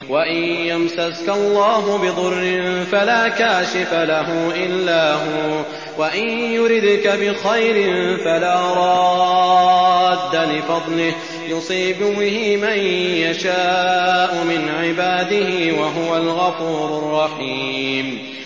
وَإِن يَمْسَسْكَ اللَّهُ بِضُرٍّ فَلَا كَاشِفَ لَهُ إِلَّا هُوَ ۖ وَإِن يُرِدْكَ بِخَيْرٍ فَلَا رَادَّ لِفَضْلِهِ ۚ يُصِيبُ بِهِ مَن يَشَاءُ مِنْ عِبَادِهِ ۚ وَهُوَ الْغَفُورُ الرَّحِيمُ